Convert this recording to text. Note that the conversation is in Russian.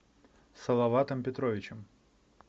салаватом петровичем